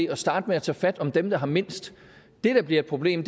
at starte med at tage fat om dem der har mindst det der bliver et problem